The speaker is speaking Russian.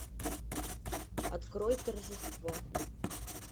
открой торжество